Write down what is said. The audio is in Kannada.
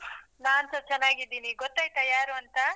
ನಾನ್ಸ ಚೆನ್ನಾಗಿದ್ದೀನಿ ಗೊತ್ತಾಯಿತಾ ಯಾರು ಅಂತ?